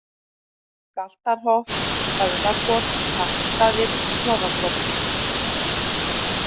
Galtarholt, Höfðakot, Hrappsstaðir, Snorrakot